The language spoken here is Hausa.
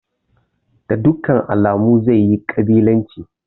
Da dukkan alamu zai yi ƙabilanci.